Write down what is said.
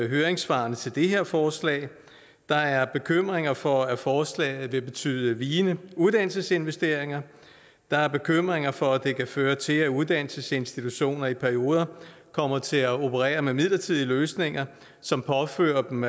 høringssvarene til det her forslag der er bekymringer for at forslaget vil betyde vigende uddannelsesinvesteringer der er bekymringer for at det kan føre til at uddannelsesinstitutioner i perioder kommer til at operere med midlertidige løsninger som påfører dem